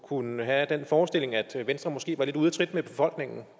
kunne have den forestilling at venstre måske var lidt ude af trit med befolkningen